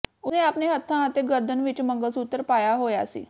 ਉਸਨੇ ਆਪਣੇ ਹੱਥਾਂ ਅਤੇ ਗਰਦਨ ਵਿਚ ਮੰਗਲਸੂਤਰ ਪਾਇਆ ਹੋਇਆ ਸੀ